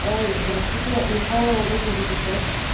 здравствуйте михайлова восемьдесят пять